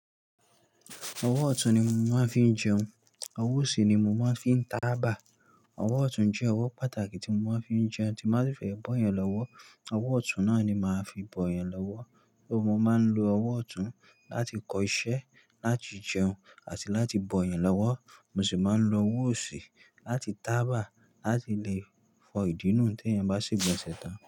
Ọwọ́ ọ̀tún ni mo máa ń fi ń jẹun, ọwọ́ òsì ni mo máa ń fi ń taaba. Ọwọ́ ọ̀tún jẹ́ ọwọ́ pàtàkì tí mo máa ń fi ń jẹun, tí mo bá fẹ́ bọ̀ eyan lọ́wọ́, ọwọ́ ọ̀tún náà ni màá fi bọ̀ yan lọ́wọ́. Só mo máa ń lo ọwọ́ ọ̀tún láti kọ iṣẹ́, láti jẹun àti láti bọ eyan lọ́wọ́. Mo sì máa ń lo ọwọ́ òsì láti tàbà láti le fọ ìdínù tí ẹ́yan bá se gbọn ṣẹ̀ tán.